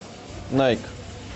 найк